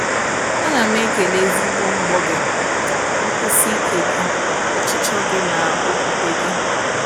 A na m ekele ezigbo mbọ gị, nkwụsi ike gị, ọchịchọ gị, na okwukwe gị.